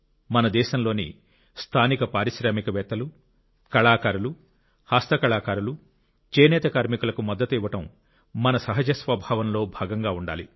మన దేశంలోని స్థానిక పారిశ్రామికవేత్తలు కళాకారులు హస్తకళాకారులు చేనేత కార్మికులకు మద్దతు ఇవ్వడం మన సహజ స్వభావంలో భాగంగా ఉండాలి